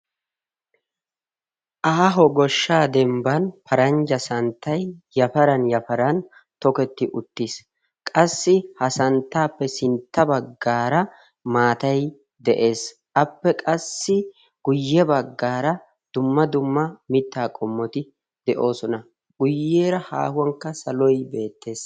aaho goshshaa dembban paranjja santtay yafaran yafaran toketti uttiis qassi ha santtaappe sintta baggaara maatay de'ees. appe qassi guyye baggaara dumma dumma mittaa qommoti de'oosona. guyyeera haahuwankka saloy beettees.